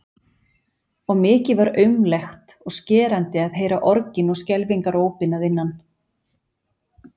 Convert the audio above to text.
Og mikið var aumlegt og skerandi að heyra orgin og skelfingarópin að innan.